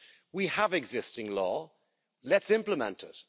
We have existing law let's implement it.